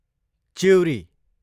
चिउरी